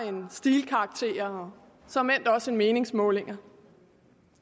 end stilkarakterer og såmænd også end meningsmålinger